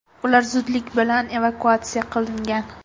Ular zudlik bilan evakuatsiya qilingan.